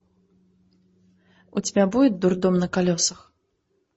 у тебя будет дурдом на колесах